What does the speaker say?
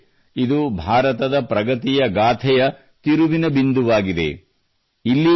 ಸ್ನೇಹಿತರೇ ಇದು ಭಾರತದ ಪ್ರಗತಿಯ ಗಾಥೆಯ ತಿರುವಿನ ಬಿಂದುವಾಗಿದೆ